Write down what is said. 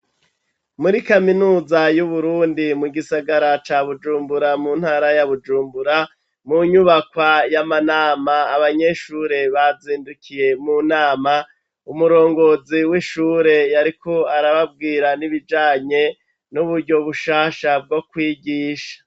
Muri kaminuza y'Uburundi, mu gisagara ca Bujumbura, mu ntara ya Bujumbura, mu nyubakwa y'amanama, abanyeshure bazindukiye mu nama, umurongozi w'ishure yariko arababwira n'ibijanye n'uburyo bushasha bwo kwigisha.